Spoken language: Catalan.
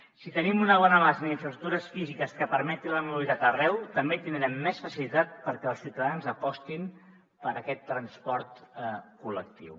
si tenim una bona base en infraestructures físiques que permeti la mobilitat arreu també tindrem més facilitat perquè els ciutadans apostin per aquest transport col·lectiu